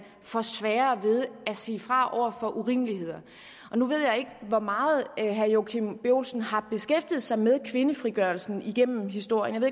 får sværere ved at sige fra over for urimeligheder nu ved jeg ikke hvor meget herre joachim b olsen har beskæftiget sig med kvindefrigørelsen igennem historien jeg